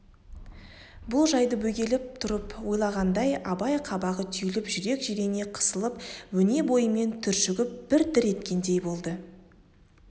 бұл жайды бөгеліп тұрып ойлағанда абай қабағы түйіліп жүрек жирене қысылып өне бойымен түршігіп бір дір еткендей болды